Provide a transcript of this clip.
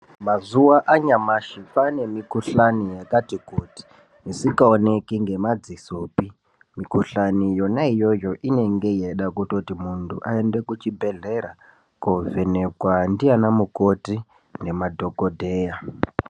Mazuva anyamashi kwane mikuhlani yakati kuti isingaoneki nemadziso mikuhlani yona iyoyo inenge ichida kuti muntu aende kuchibhedhlera kovhenekwa ndivana mukoti nemadhokodeya.